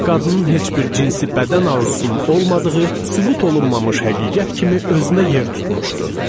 Qadının heç bir cinsi bədən arzusunun olmadığı sübut olunmamış həqiqət kimi özünə yer tutmuşdu.